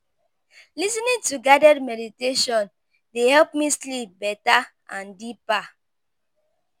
Lis ten ing to guided meditation dey help me sleep better and deeper.